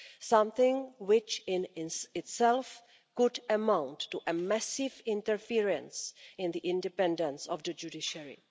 something which in itself could amount to a massive interference in the independence of the judiciary.